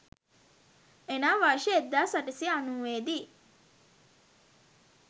එනම් වර්ෂ 1890 දී